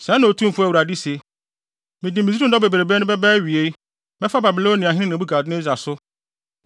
“ ‘Sɛɛ na Otumfo Awurade se: “ ‘Mede Misraim dɔm bebrebe no bɛba awiei mɛfa Babiloniahene Nebukadnessar so.